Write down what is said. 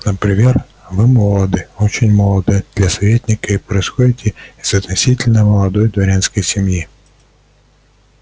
например вы молоды очень молоды для советника и происходите из относительно молодой дворянской семьи